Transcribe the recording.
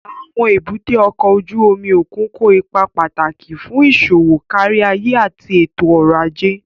Àwọn èbúté ọkọ̀ ojú omi òkun kó ipa pàtàkì fún iṣowo káríayé àti ètò ọ̀rọ̀ ajé